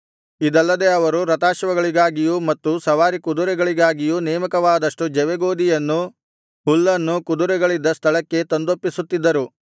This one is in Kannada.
ಇದಲ್ಲದೆ ಅವರು ರಥಾಶ್ವಗಳಿಗಾಗಿಯೂ ಮತ್ತು ಸವಾರಿಕುದುರೆಗಳಿಗಾಗಿಯೂ ನೇಮಕವಾದಷ್ಟು ಜವೆಗೋದಿಯನ್ನು ಹುಲ್ಲನ್ನೂ ಕುದುರೆಗಳಿದ್ದ ಸ್ಥಳಕ್ಕೇ ತಂದೊಪ್ಪಿಸುತ್ತಿದ್ದರು